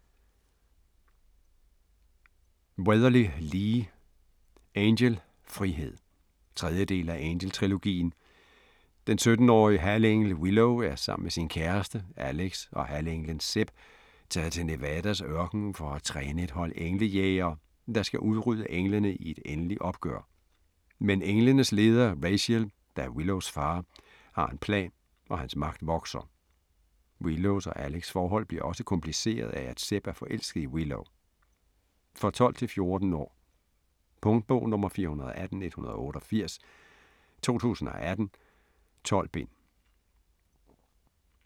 Weatherly, Lee: Angel - frihed 3. del af Angel-trilogien. Den 17-årige halvengel Willow er sammen med sin kæreste, Alex og halvenglen, Seb taget til Nevadas ørken for at træne et hold englejægere, der skal udrydde englene i et endeligt opgør. Men englenes leder, Raziel, der er Willows far, har en plan og hans magt vokser. Willows og Alex's forhold bliver også kompliceret af, at Seb er forelsket i Willow. For 12-16 år. Punktbog 418188 2018. 12 bind.